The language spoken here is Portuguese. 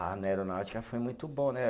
Ah, na aeronáutica foi muito bom, né?